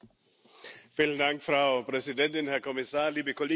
Frau Präsidentin, Herr Kommissar, liebe Kolleginnen und Kollegen!